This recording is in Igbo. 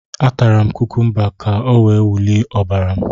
A tara m kukumba ka o wee wulie ọbara m